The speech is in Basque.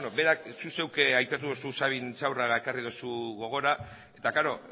berak zu zeuk aipatu duzu sabin intxaurraga ekarri duzu gogora eta klaro